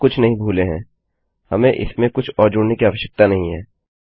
हम कुछ नहीं भूले हैं हमें इसमें कुछ और जोड़ने की आवश्यकता नहीं है